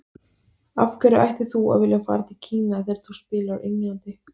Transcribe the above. Af hverju ættir þú að vilja fara til Kína þegar þú spilar á Englandi?